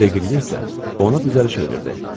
Deqriyə isə ona düzəliş verirdi.